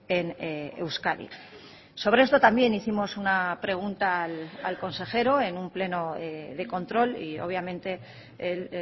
en euskadi sobre esto también hicimos una pregunta al consejero en un pleno de control y obviamente el